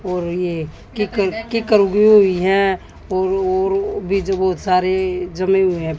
और ये किक किक उगी हुई हैं और और बीज बहुत सारे जमीन में हैं।